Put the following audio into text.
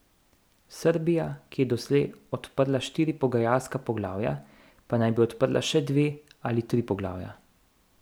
Srbija, ki je doslej odprla štiri pogajalska poglavja, pa naj bi odprla še dve ali tri poglavja.